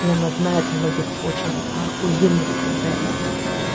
и она знает многих очень охуенных специалистов